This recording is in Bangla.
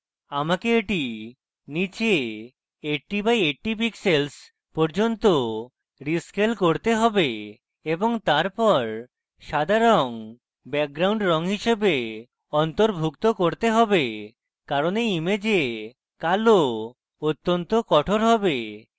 আমাকে এটি নীচে 80 by 80 pixels পর্যন্ত rescale করতে have এবং তারপর সাদা রঙ background রঙ হিসেবে অন্তর্ভুক্ত করতে have কারণ এই image কালো অত্যন্ত কঠোর have